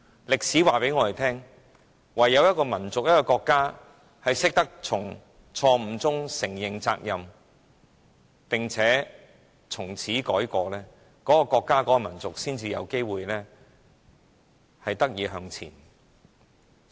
歷史告訴我們，一個國家或民族唯有懂得從錯誤中承認責任並從此改過，這個國家或民族才有機會得以向前。